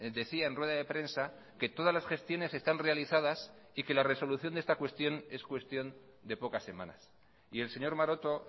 decía en rueda de prensa que todas las gestiones están realizadas y que la resolución de esta cuestión es cuestión de pocas semanas y el señor maroto